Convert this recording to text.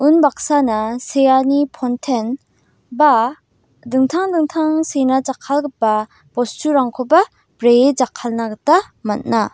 unbaksana seani ponten ba dingtang dingtang sena jakkalgipa bosturangkoba bree jakkalna gita man·a.